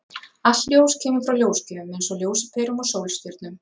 Allt ljós kemur frá ljósgjöfum, eins og ljósaperum og sólstjörnum.